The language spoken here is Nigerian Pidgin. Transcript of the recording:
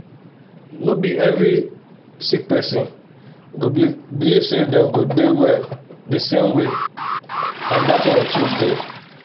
no be every sick person go believe say dem go dey well the same way and that one too dey